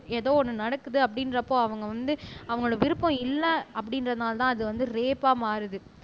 ஏதோ ஒண்ணு நடக்குது அப்படின்றப்போ அவங்க வந்து அவங்களோட விருப்பம் இல்லை அப்படின்றதுனாலதான் அது வந்து ரேப்பா மாறுது